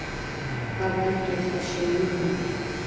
Hvað veldur þessum mun?